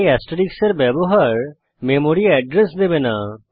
তাই এস্টেরিস্ক এর ব্যবহার মেমরি এড্রেস দেবে না